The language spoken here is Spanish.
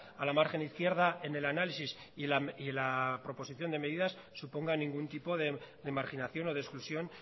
a la margen izquierda en el análisis y la proposición de medidas suponga ningún tipo de marginación o de exclusión